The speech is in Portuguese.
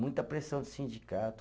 Muita pressão de sindicato.